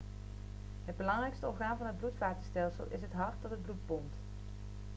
het belangrijkste orgaan van het bloedvatenstelsel is het hart dat het bloed pompt